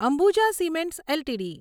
Ambuja cements LTD